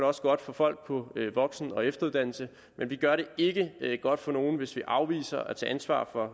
også godt for folk på voksen og efteruddannelse men vi gør det ikke godt for nogen hvis vi afviser at tage ansvar for